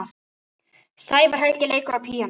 Sævar Helgi leikur á píanó.